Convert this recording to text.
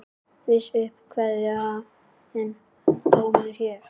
Víst upp kveðinn dómur hér.